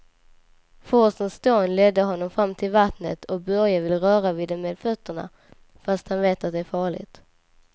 Forsens dån leder honom fram till vattnet och Börje vill röra vid det med fötterna, fast han vet att det är farligt.